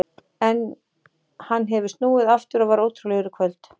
En hann hefur snúið aftur og var ótrúlegur í kvöld.